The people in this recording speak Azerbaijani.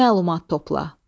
Məlumat topla.